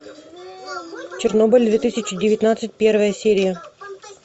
чернобыль две тысячи девятнадцать первая серия